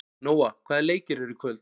Nóa, hvaða leikir eru í kvöld?